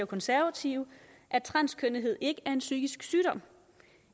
konservative at transkønnethed ikke er en psykisk sygdom